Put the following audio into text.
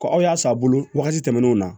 aw y'a san a bolo wagati tɛmɛnenw na